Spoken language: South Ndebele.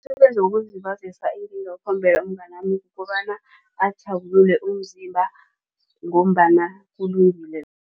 Umsebenzi wokuzilibazisa engingawukhombela umnganami kobana azithabulule umzimba ngombana kulungile.